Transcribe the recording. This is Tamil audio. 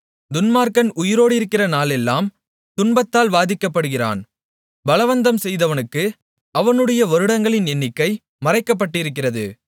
துன்மார்க்கன் உயிரோடிருக்கிற நாளெல்லாம் துன்பத்தால் வாதிக்கப்படுகிறான் பலவந்தம் செய்கிறவனுக்கு அவனுடைய வருடங்களின் எண்ணிக்கை மறைக்கப்பட்டிருக்கிறது